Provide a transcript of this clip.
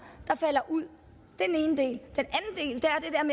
der falder ud det